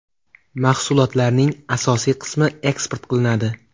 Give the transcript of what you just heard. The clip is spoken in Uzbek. Mahsulotlarning asosiy qismi eksport qilinadi.